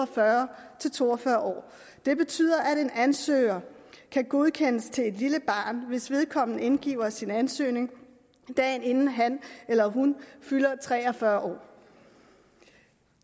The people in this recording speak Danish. fyrre til to og fyrre år det betyder at en ansøger kan godkendes til et lille barn hvis vedkommende indgiver sin ansøgning dagen inden han eller hun fylder tre og fyrre år